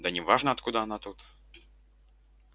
да неважно откуда она тут